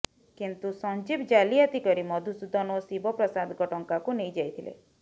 କିନ୍ତୁ ସଞ୍ଜୀବ ଜାଲିଆତି କରି ମଧୁସୂଦନ ଓ ଶିବ ପ୍ରସାଦଙ୍କ ଟଙ୍କାକୁ ନେଇ ଯାଇଥିଲେ